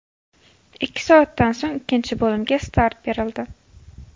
Ikki soatda so‘ng ikkinchi bo‘limga start berildi.